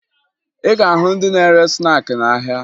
Ị ga-ahụ ndị na-ere snaakị n'ahịa